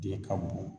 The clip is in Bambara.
Den ka bon